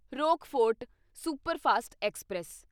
Rockfort superfast express